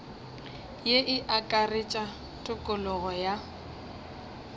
ye e akaretša tokologo ya